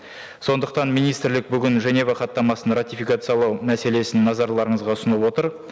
сондықтан министрлік бүгін женева хаттамасын ратификациялау мәселесін назарларыңызға ұсынып отыр